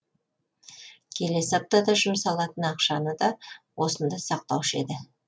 келесі аптада жұмсалатын ақшаны да осында сақтаушы еді